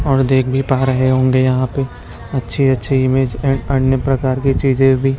और देख भी पा रहे होंगे यहाँ पे अच्छी-अच्छी इमेज ए और अन्य प्रकार की चीजें भी --